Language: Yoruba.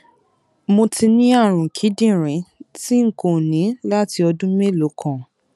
mo ti ní àrùn kíndìnrín tí n kò ní láti ọdún mélòó kan